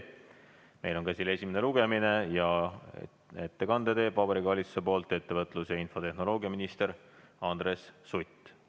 Meil on käsil esimene lugemine ja Vabariigi Valitsuse poolt teeb ettekande ettevõtlus- ja infotehnoloogiaminister Andres Sutt.